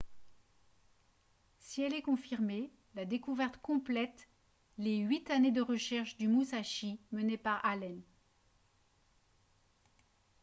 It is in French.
si elle est confirmée la découverte complète les huit années de recherche du musashi menées par allen